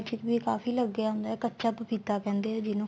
ਵਿੱਚ ਵੀ ਕਾਫੀ ਲੱਗਿਆ ਹੁੰਦਾ ਕਚਾ ਪਪੀਤਾ ਕਹਿੰਦੇ ਏ ਜਿਹਨੂੰ